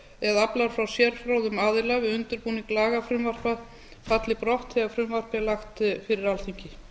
eða aflar frá sérfróðum aðila við undirbúning lagafrumvarpa falli brott þegar frumvarpið er lagt fyrir alþingi